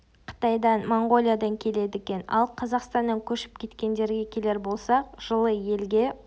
қытайдан монғолиядан келеді екен ал қазақстаннан көшіп кеткендерге келер болсақ жылы елге